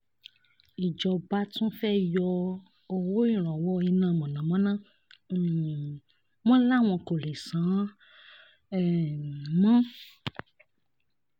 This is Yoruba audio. ìjọba tún fẹ́ẹ́ yọ owó ìrànwọ́ iná mọ̀nàmọ́ná um wọn láwọn kò lè san án um mọ́